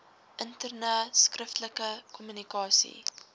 interne skriftelike kommunikasie